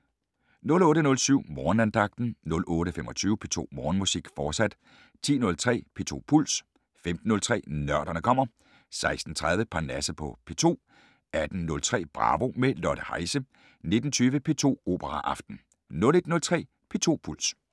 08:07: Morgenandagten 08:25: P2 Morgenmusik, fortsat 10:03: P2 Puls 15:03: Nørderne kommer 16:30: Parnasset på P2 18:03: Bravo - med Lotte Heise 19:20: P2 Operaaften 01:03: P2 Puls *